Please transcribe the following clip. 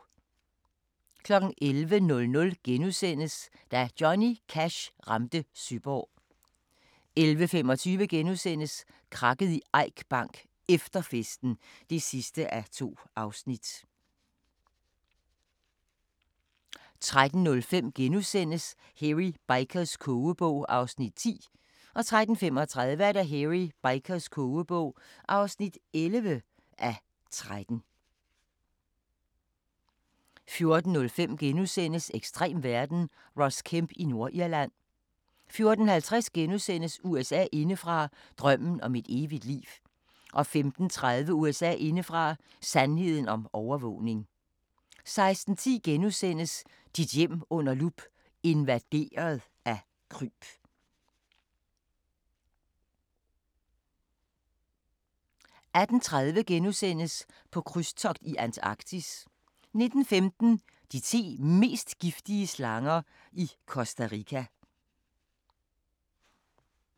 11:00: Da Johnny Cash ramte Søborg * 11:25: Krakket i Eik Bank: Efter festen (2:2)* 13:05: Hairy Bikers kogebog (10:13)* 13:35: Hairy Bikers kogebog (11:13) 14:05: Ekstrem verden – Ross Kemp i Nordirland * 14:50: USA indefra: Drømmen om et evigt liv * 15:30: USA indefra: Sandheden om overvågning 16:10: Dit hjem under lup – invaderet af kryb * 18:30: På krydstogt i Antarktis * 19:15: De ti mest giftige slanger i Costa Rica